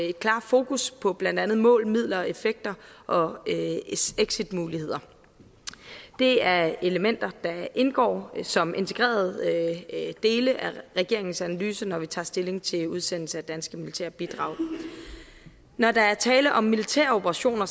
et klart fokus på blandt andet mål midler effekter og exitmuligheder det er elementer der indgår som integrerede dele af regeringens analyse når vi tager stilling til udsendelse af danske militære bidrag når der er tale om militære operationer